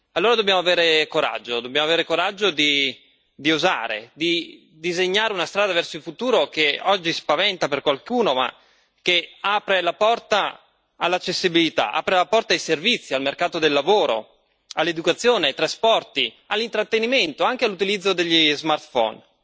Allora, dobbiamo avere il coraggio di osare, di disegnare una strada verso il futuro che oggi spaventa qualcuno ma che apre la porta all'accessibilità, apre la porta ai servizi, al mercato del lavoro, all'istruzione, ai trasporti, all'intrattenimento, anche all'utilizzo degli smartphone.